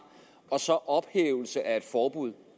og så ophævelse af et forbud